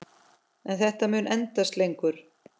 En þetta mun endast lengur.